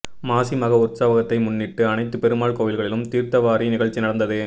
மாசி மக உற்சவத்தை முன்னிட்டு அனைத்து பெருமாள் கோவில்களிலும் தீர்த்தவாரி நிகழ்ச்சி நடந்தது